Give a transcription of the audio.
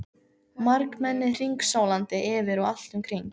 Margmennið hringsólandi yfir og allt um kring.